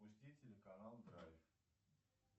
пусти телеканал драйв